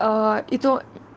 и то